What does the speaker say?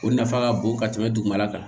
O nafa ka bon ka tɛmɛ dugumala kan